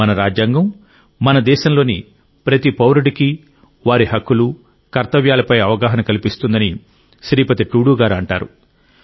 మన రాజ్యాంగం మన దేశంలోని ప్రతి పౌరుడికి వారి హక్కులు కర్తవ్యాలపై అవగాహన కల్పిస్తుందని శ్రీపతి టూడూ గారు అంటారు